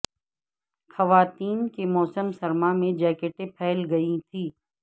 خواتین کے موسم سرما میں جیکٹیں پھیل گئی تھیں